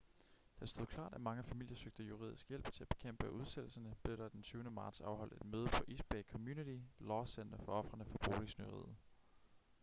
da det stod klart at mange familier søgte juridisk hjælp til at bekæmpe udsættelserne blev der den 20. marts afholdt et møde på east bay community law center for ofrene for boligsnyderiet